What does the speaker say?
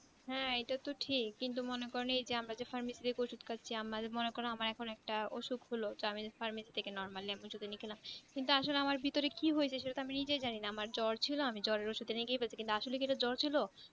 হ্যাঁ এটা তো ঠিক কিন্তু মনে করেন এই যে pharmacy এর ওষুধ খাচ্ছি আমার মনে করেন আমার এখন একটা অসুখ হলো তো আমি pharmacy থেকে normally আমি ওষুধ এনে খেলাম কিন্তু আসলে আমার ভিতরে কি হয়েছে সেটা আমি নিজেই জানিনা আমার জোর ছিল আমি জোরের ওষুধ এনে খেয়ে ফেলেছি কিন্তু আসলে কি ওটা জ্বর ছিলো